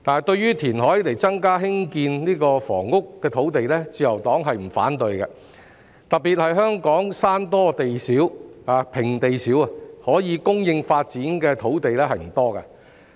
對於以填海增加興建房屋的土地，自由黨並不反對，特別是香港山多平地少，可供發展的土地不多。